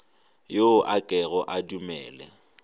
yo a kego a dumele